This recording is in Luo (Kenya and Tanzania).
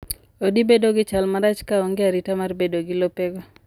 Odi bedo gi chal marach ka onge arita mar bedo gi lopego.